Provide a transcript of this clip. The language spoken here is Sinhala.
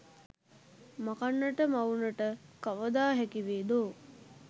මකන්නට මවුනට කවදා හැකිවේදෝ